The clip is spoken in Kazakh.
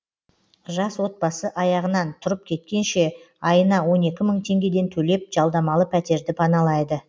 жас отбасы аяғынан тұрып кеткенше айына он екі мың теңгеден төлеп жалдамалы пәтерді паналайды